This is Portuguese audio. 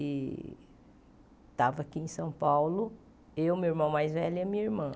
E estava aqui em São Paulo, eu, meu irmão mais velho e a minha irmã.